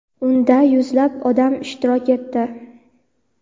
Unda yuzlab odam ishtirok etdi.